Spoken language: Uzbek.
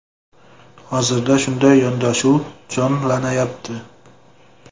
Hozirda shunday yondashuv jonlanyapti.